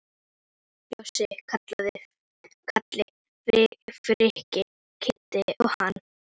Bjössi, Kalli, Frikki, Kiddi og hann.